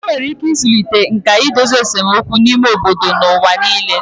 Enwere ike ịzụlite nkà idozi esemokwu n'ime obodo n'ụwa nile